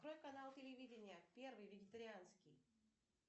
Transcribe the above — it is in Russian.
открой канал телевидения первый вегетарианский